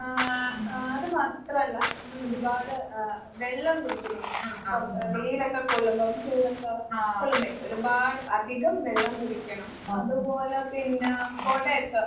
ആഹ് അഹ് അത് മാത്രല്ല നമ്മളൊരുപാട് ആഹ് വെള്ളം കുടിക്കുന്നൊണ്ട്. പൊറത്ത് വെയിലൊക്കെ കൊള്ളുമ്പം ചൂടൊക്കെ കൊള്ളുന്നേല്ലേ. ഒരുപാട് അധികം വെള്ളം കുടിക്കണം, അതുപോലെ പിന്നാ കൊടേക്കെ